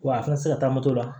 Wa a kana se ka taa moto la